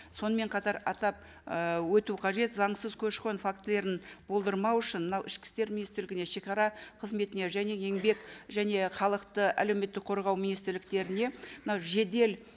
сонымен қатар атап ы өту қажет заңсыз көші қон фактілерін болдырмау үшін мынау ішкі істер министрлігіне шегара қызметіне және еңбек және халықты әлеуметтік қорғау министрліктеріне мынау жедел